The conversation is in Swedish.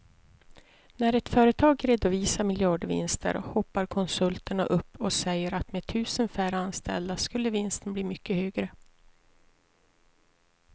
När ett företag redovisar miljardvinster hoppar konsulterna upp och säger att med tusen färre anställda skulle vinsten bli mycket högre.